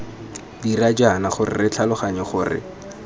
dira jaana re tlhaloganya gore